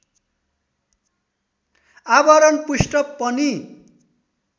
आवरण पृष्ठ पनि